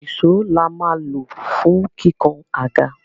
Ìsó la máa lò fún kíkàn àga.